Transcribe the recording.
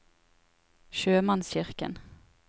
sjømannskirken